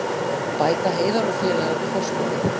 Bæta Heiðar og félagar við forskotið